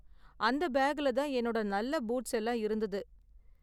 அந்த பேக்குல தான் என்னோட நல்ல பூட்ஸ் எல்லாம் இருந்தது.